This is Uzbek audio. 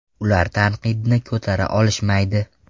Ular tanqidni ko‘tara olishmaydi.